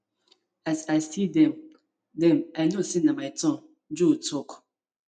as i see dem dem i know say na my turn joe tok